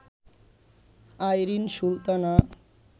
Irin Sultana